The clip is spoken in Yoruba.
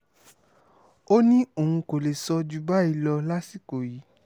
ó ní òun kò lè sọ ju báyìí lọ lásìkò yìí